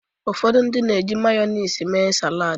Ụfọdụ ndị mmadụ ga-eji Mayọnis mee salad.